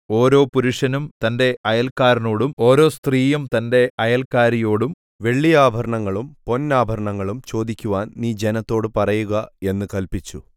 ഓരോ പുരുഷനും തന്റെ അയൽക്കാരനോടും ഓരോ സ്ത്രീയും തന്റെ അയൽക്കാരിയോടും വെള്ളിയാഭരണങ്ങളും പൊന്നാഭരണങ്ങളും ചോദിക്കുവാൻ നീ ജനത്തോട് പറയുക എന്ന് കല്പിച്ചു